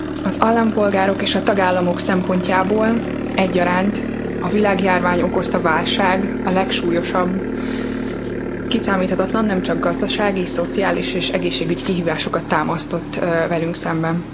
Az állampolgárok és a tagállamok szempontjából egyaránt a világjárvány okozta válság a legsúlyosabb. Kiszámíthatatlan, nemcsak gazdasági, szociális és egészségügy kihívásokat támasztott velünk szemben.